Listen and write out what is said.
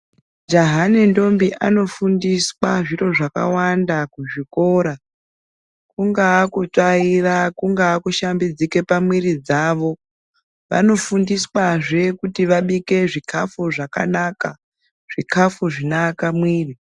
Jaha nentombi anofundiswa zviro zvakawanda kuzvikora kungaa kutsvaira kungaa kushambidzika pamuiri dzavo. Vanofundiswazve kuti vabika zvikafu zvakanaka, zvikafu zvinoaka muiri.